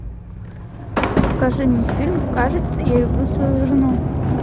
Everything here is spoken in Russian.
покажи мне фильм кажется я люблю свою жену